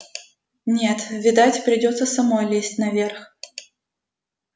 нет видать придётся самой лезть наверх